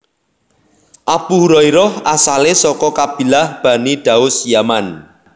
Abu Hurairah asalé saka kabilah Bani Daus Yaman